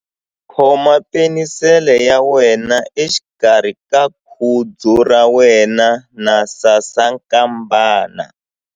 Khoma penisele ya wena exikarhi ka khudzu ra wena na sasankambana.